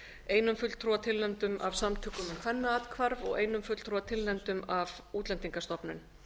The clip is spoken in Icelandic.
einum fulltrúa tilnefndum af samtökum um kvennaathvarf og einum fulltrúa tilnefndum af útlendingastofnun